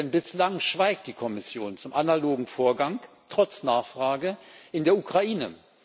Denn bislang schweigt die Kommission zum analogen Vorgang, trotz Nachfrage in der Ukraine.